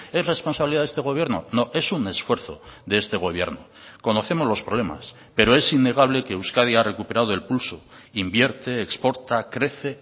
es responsabilidad de este gobierno no es un esfuerzo de este gobierno conocemos los problemas pero es innegable que euskadi ha recuperado el pulso invierte exporta crece